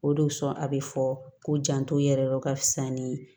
O de kosɔn a bɛ fɔ ko janto yɛrɛ ka fisa ni